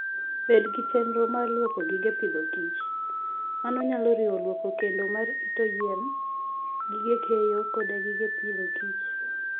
Bed gi chenro mar lwoko gige pidhokich. Mano nyalo riwo lwoko kendo marito yien, gige keyo, koda gige pidhokich.